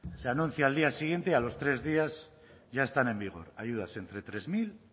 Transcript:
se anuncia al día siguiente y a los tres días ya están en vigor ayudas entre tres mil